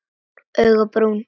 Augun brún.